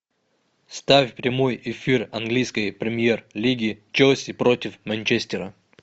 ставь прямой эфир английской премьер лиги челси против манчестера